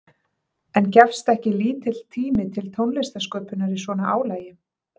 En gefst ekki lítill tími til tónlistarsköpunar í svona álagi?